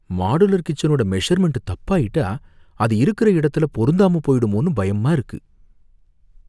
Modular கிச்சனோட measurement தப்பாயிட்டா அது இருக்கற இடத்துல பொருந்தாம போயிடுமோனு பயமா இருக்கு.